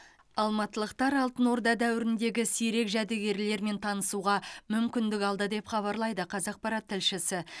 алматылықтар алтын орда дәуіріндегі сирек жәдігерлермен танысуға мүмкіндік алды деп хабарлайды қазақпарат тілшісі